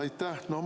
Aitäh!